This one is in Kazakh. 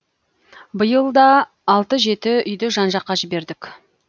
биыл да алты жеті үйді жан жаққа жібердік